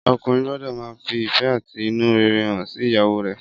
Ọkùnrin gbọ́dọ̀ máa fi ìfẹ́ àti inú rere hàn sí ìyàwó rè